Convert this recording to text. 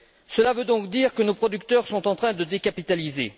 Cela veut donc dire que nos producteurs sont en train de décapitaliser.